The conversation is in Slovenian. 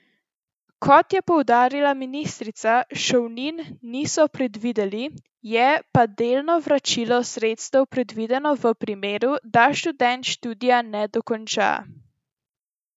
Kot je poudarila ministrica, šolnin niso predvideli, je pa delno vračilo sredstev predvideno v primeru, da študent študija ne dokonča.